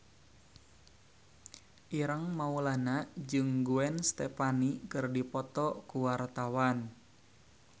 Ireng Maulana jeung Gwen Stefani keur dipoto ku wartawan